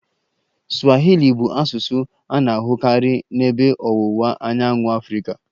Swahili bụ asụsụ a na-ahụkarị n'Ebe Ọwụwa Anyanwụ Afrịka